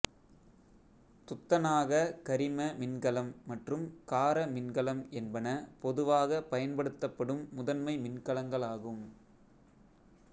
துத்தநாககரிம மின்கலம் மற்றும் கார மின்கலம் என்பன பொதுவாகப் பயன்படுத்தப்படும் முதன்மை மின்கலங்களாகும்